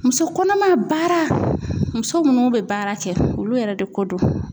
Muso kɔnɔma baara muso munnu be baara kɛ, olu yɛrɛ de ko don.